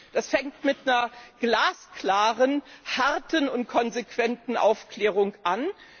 Das fängt mit einer glasklaren, harten und konsequenten Aufklärung an.